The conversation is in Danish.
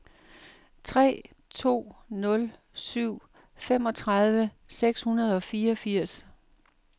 tre to nul syv femogtredive seks hundrede og fireogfirs